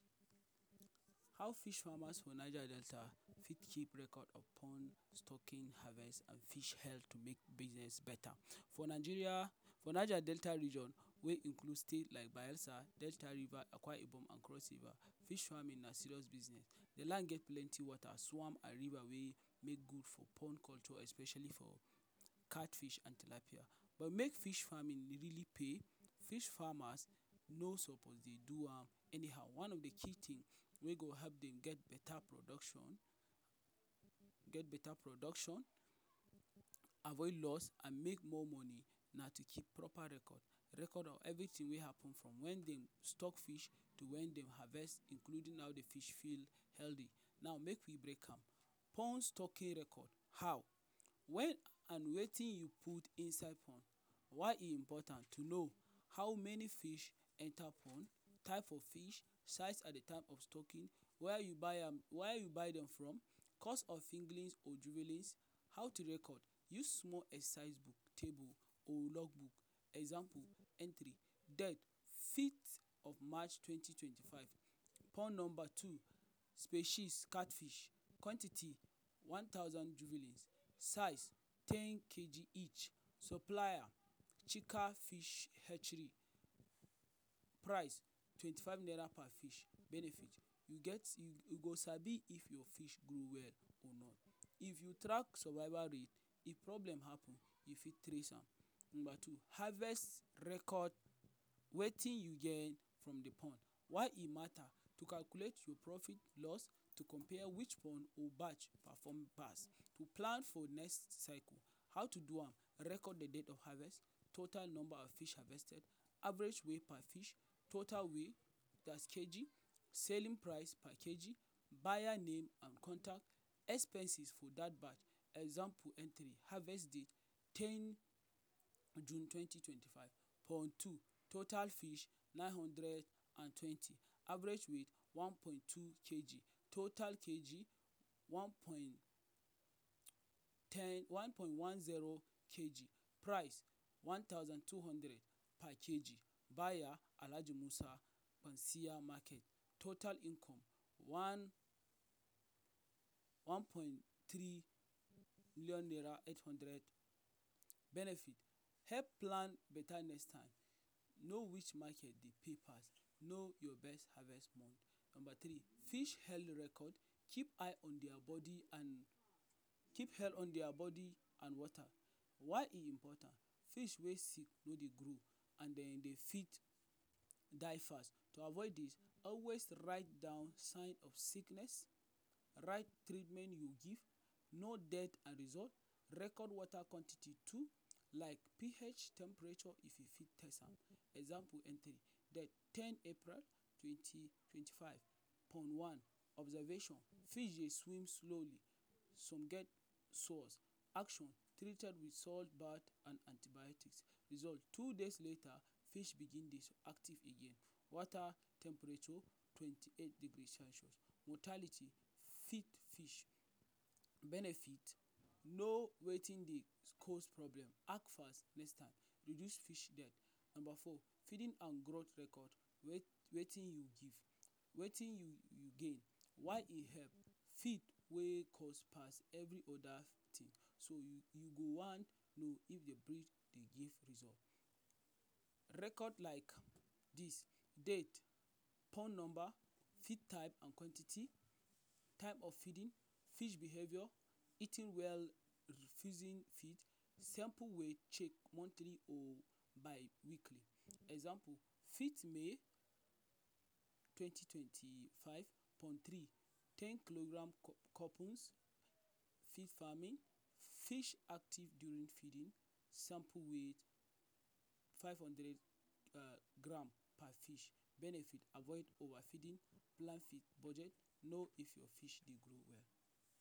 How fish farmers for Niger Delta fit keep record of pond stocking, harvest and fish hel to make business better. For Nigeria, for Niger Delta region wey include state like Bayelsa, Delta, River, Akwa Ibom and Cross River, fish farming na serious business. De land get plenty wata, swamp and river wey make good for pond especially for cat fish and tilapia. But make fish farming really pay, fish farmers no suppose dey do am anyhow. One of the key thing wey go help dem get better production get better production avoid loss, and make more money na to keep proper record. Record of everything wey happen from when dey stock fish till when dey harvest including how de fish feel healthy, now make we break am. Ponds stocking record; how and wetin you put inside pond: Why e important to know how many fish enter pond, type of fish, size and de type of stocking, where you buy am where you buy dem from, cost of fingerlings or. How to record Use small exercise book, table logbook. Example entry Date:fifth of march twenty twenty-five number two: Species – Catch fish Quantity: one thousand juveling Size: ten kg each Supplier: Chika Fish Price: twenty five naira per fish Benefit: you get you you go sabi if your fish grow well or not. If you track survival rate, if problem happen, you fit trace am. Number two. Harvest record: wetin you gain from the pond; why e mata To calculate your profit loss, to compare which pond or batch perform pass To plan for next cycle; how to do am Record the date of harvest, total number of fish harvested, average weigh per fish, total weigh (that is kg), Selling price per Kg, Buyer name and contact, expenses for that batch. Example entry: Harvest date: ten th June, twenty twenty-five Pond two: total fish- nine hundred and twenty Average weigh one point two kg, total kg: one point ten one point one zero kg price: one thousand two hundred per Kg Buyer: Alhaji Musa CA Amaki Total income: one one point three million naira eight hundred, Benefit: help plan beta next time Know which market dey pay pass, know your best harvest month. Number three. Fish Health Record keep eye on dia body and Keep hell on their body and water. Why e important. Fish wey sick wey dey grow and den e dey fit die fast. To avoid this, always write down sign of sickness, write treatment you give, know death and result, record wata quantity too, like PH temperature if you fit test am. Example: ten th April twenty twenty-five: Pond wan: Observation: Fish dey swim slowly, some dead Action: Treated with salt bath and antibiotics. Result: two days later, fish begin dey active again. Wata temperature: twenty eight degrees celcius Mortality: feed d fish Benefit: know wetin dey cause problem, act fast next time reduce fish death. Number four: Feeding and Record wetin you give: wetin you gain?, why e help? Feed wey cost pass every other. So you you go wan know if de dey give result. Record like this Date:, pond number, feed type, and quantity, type of feeding, fish behaviour, eating well, refusing feed, sample weight check monthly or bi weekly Example fifth May twenty twenty-five Pond three ten kg Couples farming Fish active during feeding Sample weigh: five hundred [um]gram per fish Benefit: avoid over feeding, plan with budget, know if your fish dey grow well.